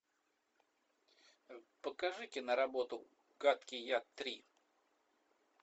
покажи киноработу гадкий я три